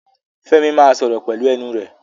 Fẹ́mi máa sọ̀rọ̀ pelu ẹnu rẹ̀